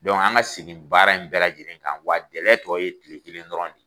an ka segin baara in bɛɛ lajɛlen kan wa gɛlɛya tɔ ye tile kelen dɔrɔn de